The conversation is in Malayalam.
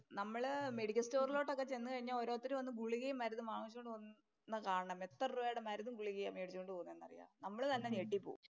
നമ്മള് മെഡിക്കല്‍ സ്റ്റോറിലോട്ടൊക്കെ ചെന്ന് കഴിഞ്ഞാൽ ഓരോരുത്തര് വന്നു ഗുളികേം, മരുന്നുമൊക്കെ മാങ്ങിച്ചോണ്ട് പോന്നെ കാണണം. എത്ര രൂപയുടെ മരുന്നും, ഗുളികയാ മേടിച്ചോണ്ട് പോന്നേ. നമ്മള് തന്നെ ഞെട്ടി പോവും.